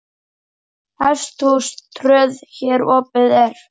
Hesthús tröð hér opið er.